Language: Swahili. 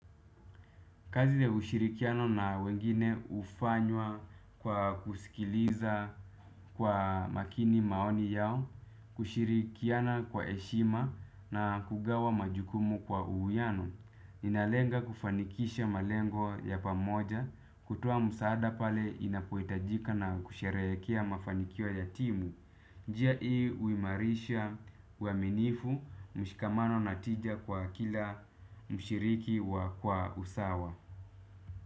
Kazi ya ushirikiano na wengine ufanywa kwa kusikiliza kwa makini maoni yao, kushirikiana kwa heshima na kugawa majukumu kwa uwiano. Inalenga kufanikisha malengo ya pamoja, kutoa msaada pale inapohitajika na kusherehekea mafanikio ya timu. Njia hii uimarisha uaminifu mshikamano na tija kwa kila mshiriki wa kwa usawa.